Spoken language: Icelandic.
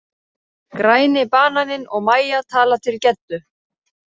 Græni bananinn og Mæja tala til Geddu.